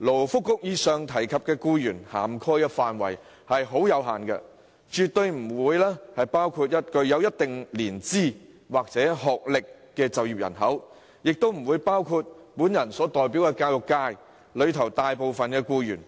勞工及福利局上述提及的僱員涵蓋範圍有限，不包括具一定年資或學歷的就業人口，亦不包括我所代表的教育界大部分僱員。